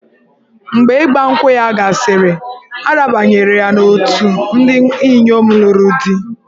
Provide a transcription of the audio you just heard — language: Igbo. Mgbe Ịgba nkwụ ya gasịrị, a rabanyere ya n'òtù ndị inyom lụrụ di.